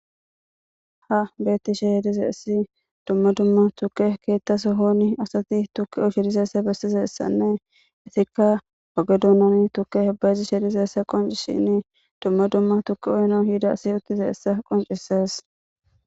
ha beettishehe dizaysi dumma dumma tuke keetta sohoni asati tukke uchidiseessa bessize essanne itikka wagedoonon tukke hebayezi sheedizeessa qonci shinni dumma dumma tukki oyno hida si uttize essa qoncisees